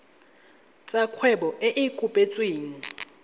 tsa kgwebo e e kopetsweng